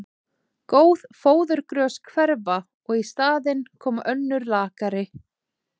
Góð fóðurgrös hverfa og í staðinn koma önnur lakari.